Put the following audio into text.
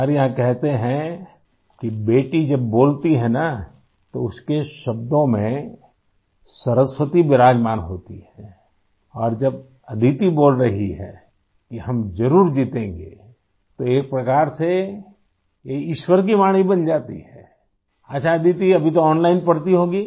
हमारे यहाँ कहते हैं कि बेटी जब बोलती है ना तो उसके शब्दों में सरस्वती विराजमान होती है और जब अदिति बोल रही है कि हम ज़रूर जीतेंगे तो एक प्रकार से यह ईश्वर की वाणी बन जाती है आई अच्छा अदिति अभी तो ओनलाइन पढ़ती होगी